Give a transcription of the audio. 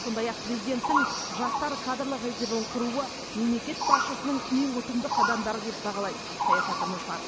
сондай ақ президенттің жастар кадрлық резервін құруы мемлекет басшысының ең ұтымды қадамдары деп бағалайды саясаттанушылар